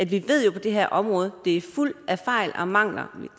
vi ved jo at det her område er fuld af fejl og mangler